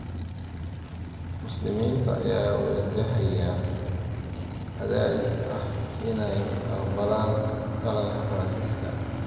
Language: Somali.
Muslimiinta ayaa wajahaya cadaadis ah inay aqbalaan dhaqanka Faransiiska